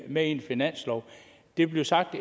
med i en finanslov det bliver sagt